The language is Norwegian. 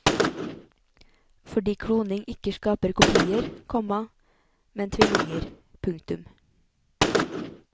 Fordi kloning ikke skaper kopier, komma men tvillinger. punktum